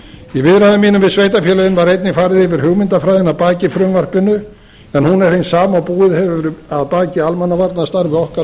í viðræðum mínum við sveitarfélögin var einnig farið yfir hugmyndafræðina að baki frumvarpinu en hún er hin sama og búið hefur að baki almannavarnastarfi okkar